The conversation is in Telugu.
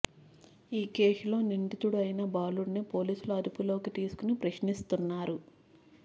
ఈ కేసులో నిందితుడు అయిన బాలుడిని పోలీసులు అదుపులోకి తీసుకుని ప్రశ్నిస్తున్నారు